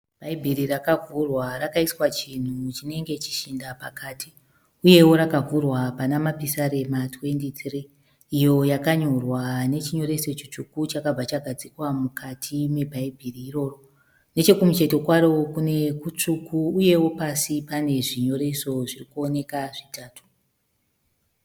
Bhaibheri rakavhurwa rakaiswa chinhu chinenge chishinda pakati. Uyewo rakavhurwa Pana Mapisarema 23 iyo yakanyorwa nechinyoreso chitsvuku chakabva chagadzikwa mukati mebhaibheri iroro. Nechekumucheto kwaro kutsvuku uyewo pasi pane zvinyoreso zvirikuoneka zvitatu.